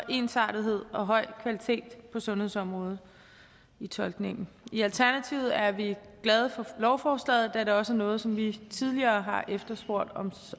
ensartethed og høj kvalitet på sundhedsområdet i tolkningen i alternativet er vi glade for lovforslaget da det også er noget som vi tidligere har efterspurgt